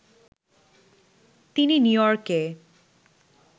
তিনি নিউইয়র্কে